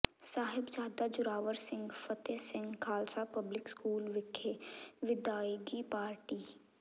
Sahibzada Zorawar Singh Fateh Singh Khalsa public school ਵਿਖੇ ਵਿਦਾਇਗੀ party